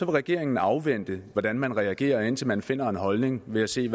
regeringen afvente hvordan man skal reagere indtil man finder en holdning ved at se i